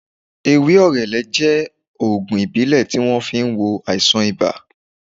Ewé orele jẹ́ ògùn ìbílẹ̀ tí wón fi ń wo àìsàn ibà